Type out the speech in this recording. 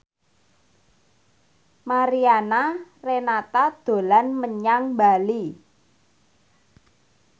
Mariana Renata dolan menyang Bali